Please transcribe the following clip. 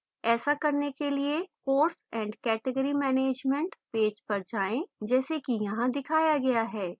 ऐसा करने के लिए course and category management page पर जाएँ जैसे कि यहाँ दिखाया गया है